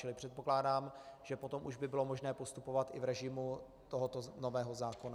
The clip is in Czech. Čili předpokládám, že potom už by bylo možné postupovat i v režimu tohoto nového zákona.